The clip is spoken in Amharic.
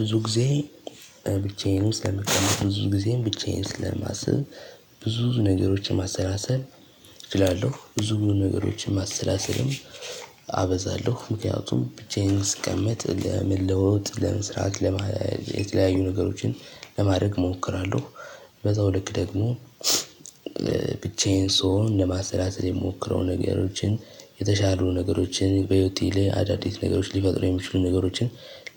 ብዙ ጊዜ ብቻዬንም ስለምቀመጥ ብዙ ጊዜም ብቻዬን ስለማስብ ብዙ ነገሮችን ማሰላሰል እችላለሁ ብዙ ነገሮችን ማሰላሰልም አበዛለሁ። ምክንያቱም ብቻዬን ስቀመጥ ለመለወጥ ለመስራት ለማ የተለያዩ ነገሮችን ለማድረግ እሞክራለሁ። በዛው ልክ ደግሞ ብቻዬን ስሆን ለማሰላሰል የምሞክረው ነገሮችን የተሻሉ ነገሮችን በህይወቴ ላይ አዳዲስ ነገሮች ሊፈጥሩ የሚችሉ ነገሮችን